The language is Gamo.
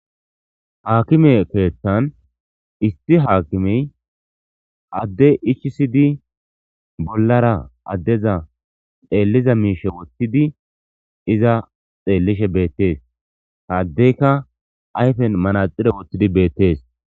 Ha akime keeththan isti haakimey adde ichisidi bollara addeza xeelliza miishe woththidi iza xeellishe beettees haddeyka ayfen manaxire woththidi beettees.